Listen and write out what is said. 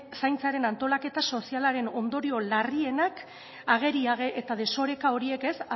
zaintzaren antolaketa sozialaren ondorio larrienak agerian eta desoreka horiek